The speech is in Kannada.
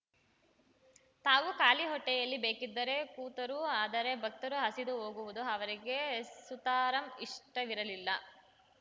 ತಾವು ಖಾಲಿ ಹೊಟ್ಟೆಯಲ್ಲಿ ಬೇಕಿದ್ದರೆ ಕೂತಾರೂ ಆದರೆ ಭಕ್ತರು ಹಸಿದು ಹೋಗುವುದು ಅವರಿಗೆ ಸುತಾರಾಂ ಇಷ್ಟವಿರಲಿಲ್ಲ